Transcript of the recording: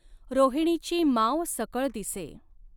रॊहिणीची माव सकळ दिसॆ.